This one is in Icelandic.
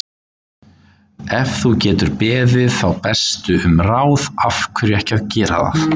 Ef þú getur beðið þá bestu um ráð, af hverju ekki að gera það?